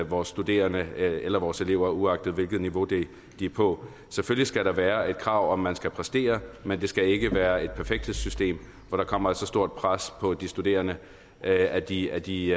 vores studerende eller vores elever uagtet hvilket niveau de er på selvfølgelig skal der være et krav om at man skal præstere men det skal ikke være et perfekthedssystem hvor der kommer et så stort pres på de studerende at de at de